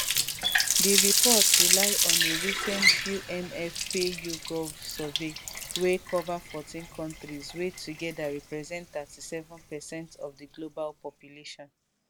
di report rely on a recent unfpayougov survey wey cover14 countries wey togeda represent 37 per cent of di global population